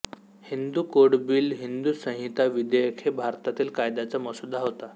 Hindu code bill Hindu संहिता विधेयक हे भारतातील कायद्याचा मसुदा होता